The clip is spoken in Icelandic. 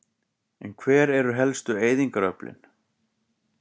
En hver eru helstu eyðingaröflin?